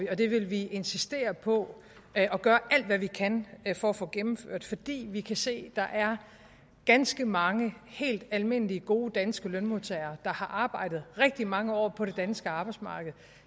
det vil vi insistere på at gøre alt hvad vi kan for at få gennemført fordi vi kan se at der er ganske mange helt almindelige gode danske lønmodtagere der har arbejdet rigtig mange år på det danske arbejdsmarked